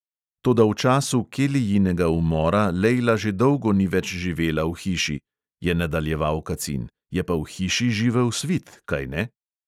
"Toda v času kelijinega umora lejla že dolgo ni več živela v hiši," je nadaljeval kacin, "je pa v hiši živel svit, kajne?"